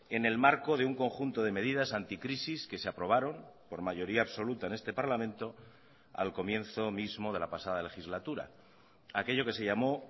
en el marco de un conjunto de medidas anticrisis que se aprobaron por mayoría absoluta en este parlamento al comienzo mismo de la pasada legislatura aquello que se llamó